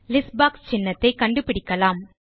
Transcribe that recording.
list box சின்னத்தை கண்டுபிடிக்கலாம்